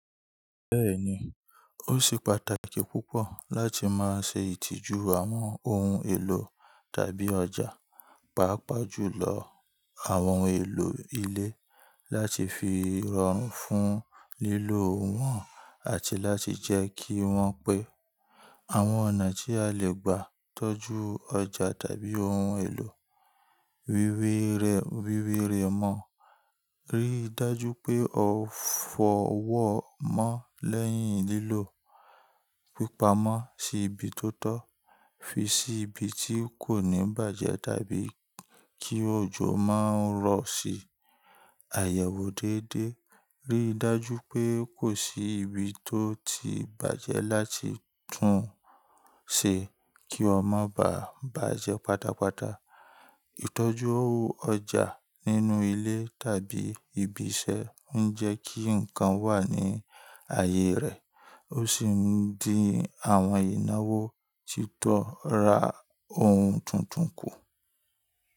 Bẹ́ẹ̀ni, ó ṣe pàtàkì púpọ̀ láti máa ṣe ìtìjú àwọn ohun èlò tàbí ọjà, pàápàá jùlọ àwọn ohun èlò ilé láti fi rọrùn fún lílò wọn àti láti jẹ́ kí wọ́n pé. Àwọn ọ̀nà tí a lè gbà tọ́jú ọjà tàbí ohun èlò wíwéré wíwéré mọ̀. Ríi dájú pé o fọ wọ́n mọ́ lẹ́yìn lílò, pípa mọ́ sí ibi tó tọ́, fi sí ibi tí kò ní bàjẹ́ tàbí kí òjò má rọ̀ sí i. Àyẹ̀wò déédéé. Ríi dájú pé kò sí ibi tó ti bàjẹ́ láti tún ṣe kí ó má bà bàjẹ́ pátápátá. Ìtọ́jú ọjà nínú ilé tàbí ibi iṣẹ́ ń jẹ́ kí nǹkan wà ní ààyè rẹ̀, ó sì ń di àwọn ìnáwó titọ́ ra ohun tuntun kù.